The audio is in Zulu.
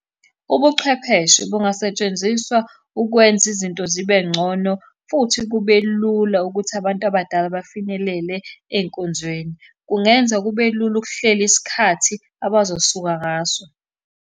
Ubuchwepheshe bungasetshenziswa ukwenza izinto zibe ngcono, futhi kube lula ukuthi abantu abadala bafinyelele ey'nkonzweni. Kungenza kube lula ukuhlela isikhathi abazosuka ngaso.